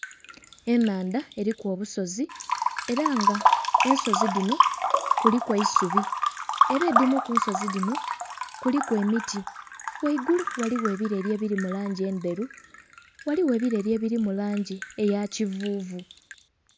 Enhandha eriku obusozi era nga ensozi dhino kuliku eisubi era edhimu kunsozi dhino kuliku emiti ghaigulu ghaligho ebireri ebiri mulangi endheru, ghaligho ebireri ebiri mulangi eya kivuvu.